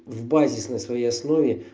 в базисной своей основе